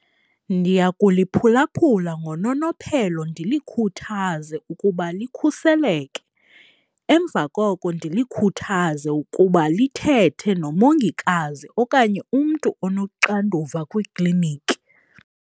Ndiyakuliphulaphula ngononophelo ndilikhuthaze ukuba likhuseleke. Emva koko ndilikhuthaze ukuba lithethe nomongikazi okanye umntu onoxanduva kwiikliniki.